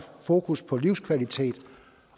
fokus på livskvalitet